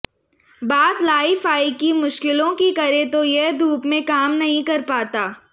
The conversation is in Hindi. बात लाईफाई की मुश्किलों की करें तो यह धूप में काम नहीं कर पाता